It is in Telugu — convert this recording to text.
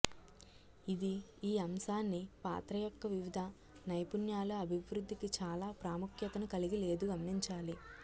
ఇది ఈ అంశాన్ని పాత్ర యొక్క వివిధ నైపుణ్యాలు అభివృద్ధికి చాలా ప్రాముఖ్యతను కలిగి లేదు గమనించాలి